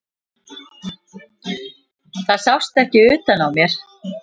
Það sást ekki utan á mér.